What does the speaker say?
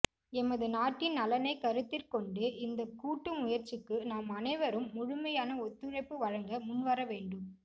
எமது நாட்டின் நலனைக் கருத்திற்கொண்டு இந்தக் கூட்டு முயற்சிக்கு நாம் அனைவரும் முழுமையான ஒத்துழைப்பு வழங்க முன்வரவேண்டும்